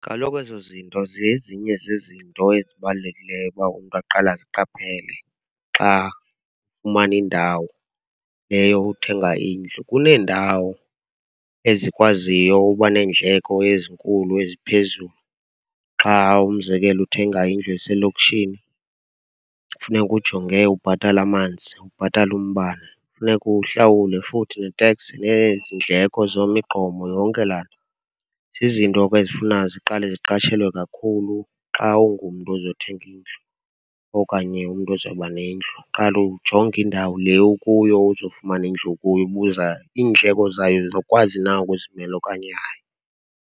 Kaloku ezo zinto zezinye zezinto ezibalulekileyo uba umntu aqale aziqaphele xa efumana indawo, le yokuthenga indlu. Kuneendawo ezikwaziyo uba neendleko ezinkulu eziphezulu xa umzekelo, uthenga indlu eselokishini, funeka ujonge ubhatala amanzi, ubhatale umbane. Funeka uhlawule futhi neteks le yeziindleko zemigqomo, yonke laa nto. Zizinto ke ezifuna ziqale ziqatshelwe kakhulu xa ungumntu ozothenga indlu okanye umntu ozawuba nendlu, qale ujonge indawo le okuyo ozofumana indlu kuyo. Ubuza, iindleko zayo uzokwazi na ukuzimela okanye hayi?